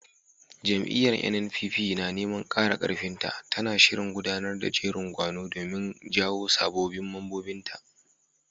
Jam'iyyar NNPP, na neman ƙara ƙarfin ta, tana shirin gudanar da jerin gwano domin jawo sabbin mambobinta.